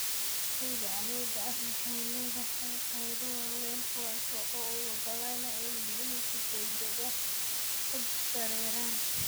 Ciida cammuudda ah waxay leedahay qaybo waaweyn, kuwaas oo u oggolaanaya in biyuhu si degdeg ah u dareeraan.